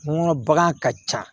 N kɔnɔ bagan ka ca